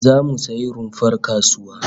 Zamu sayi rumfar kasuwa